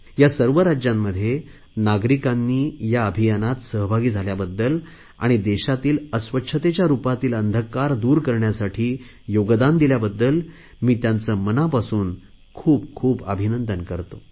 या सर्व राज्यांमध्ये नागरिकांनी या अभियानात सहभागी झाल्याबद्दल आणि देशातील अस्वच्छतेच्या रुपातील अंधकार दूर करण्यासाठी योगदान दिल्याबद्दल मी त्यांचे मनापासून खूपखूप अभिनंदन करतो